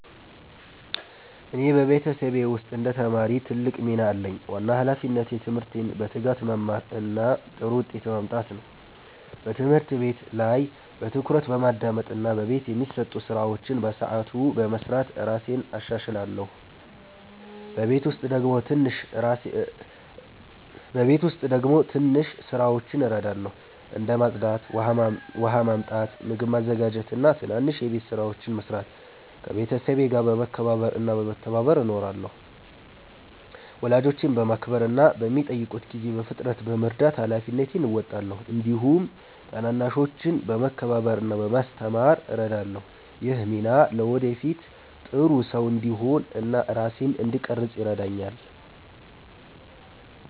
እኔ በቤተሰቤ ውስጥ እንደ ተማሪ ትልቅ ሚና አለኝ። ዋና ሃላፊነቴ ትምህርቴን በትጋት መማር እና ጥሩ ውጤት ማምጣት ነው። በትምህርት ቤት ላይ በትኩረት በማዳመጥ እና በቤት የሚሰጡ ስራዎችን በሰዓቱ በመስራት እራሴን እሻሻላለሁ። በቤት ውስጥ ደግሞ ትንሽ ስራዎችን እረዳለሁ፣ እንደ ማጽዳት፣ ውሃ ማመጣት፣ ምግብ ማዘጋጀት እና ትናንሽ የቤት ስራዎችን መስራት። ከቤተሰቤ ጋር በመከባበር እና በመተባበር እኖራለሁ። ወላጆቼን በማክበር እና በሚጠይቁት ጊዜ በፍጥነት በመርዳት ሃላፊነቴን እወጣለሁ። እንዲሁም ታናናሾችን በመከባበር እና በማስተማር እረዳለሁ። ይህ ሚና ለወደፊት ጥሩ ሰው እንድሆን እና ራሴን እንድቀርፅ ይረዳኛል።